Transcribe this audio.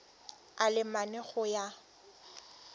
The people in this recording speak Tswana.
a le mane go ya